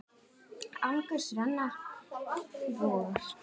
Angurs renna vogar.